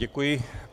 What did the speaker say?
Děkuji.